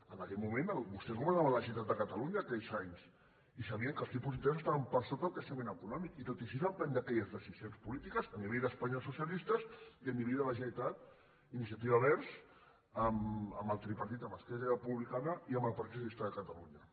en aquell moment vostès governaven a la generalitat de catalunya aquells anys i sabien que els tipus d’interès estaven per sota del creixement econòmic i tot i així van prendre aquelles decisions polítiques a nivell d’espanya els socialistes i a nivell de la generalitat iniciativa verds amb el tripartit amb esquerra republicana i amb el partit socialista de catalunya